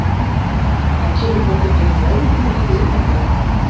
En kemur fólk ekkert meðvitundarlítið inn eftir þetta?